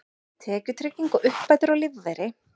Tekjutrygging og uppbætur á lífeyri.